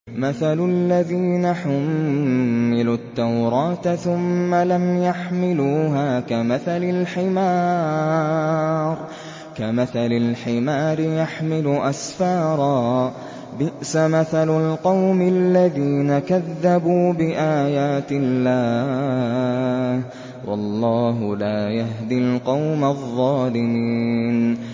مَثَلُ الَّذِينَ حُمِّلُوا التَّوْرَاةَ ثُمَّ لَمْ يَحْمِلُوهَا كَمَثَلِ الْحِمَارِ يَحْمِلُ أَسْفَارًا ۚ بِئْسَ مَثَلُ الْقَوْمِ الَّذِينَ كَذَّبُوا بِآيَاتِ اللَّهِ ۚ وَاللَّهُ لَا يَهْدِي الْقَوْمَ الظَّالِمِينَ